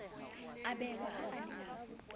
abelwa ha a ne a